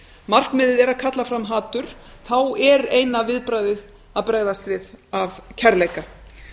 markmiðið er að kalla fram hatur þá er eina viðbragðið að bregðast við af kærleika